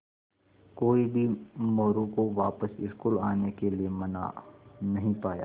कोई भी मोरू को वापस स्कूल आने के लिये मना नहीं पाया